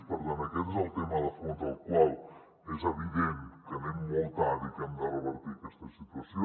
per tant aquest és el tema de fons en el qual és evident que anem molt tard i que hem de revertir aquesta situació